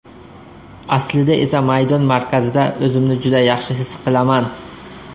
Aslida esa maydon markazida o‘zimni juda yaxshi his qilaman.